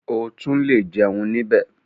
O tún le jẹun níbẹ̀.